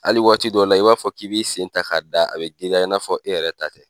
Hali waati dɔw la, i b'a fɔ k'i b'i sen ta ka da, a bɛ giriya i b'a fɔ k'e yɛrɛ ta tɛ.